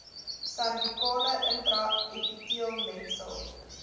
servikale intra epiteelletsel